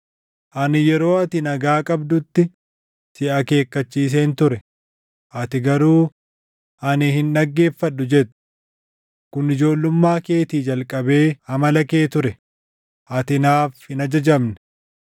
Ani yeroo ati nagaa qabdutti si akeekkachiiseen ture; ati garuu, ‘Ani hin dhaggeeffadhu!’ jette. Kun ijoollummaa keetii jalqabee amala kee ture; ati naaf hin ajajamne.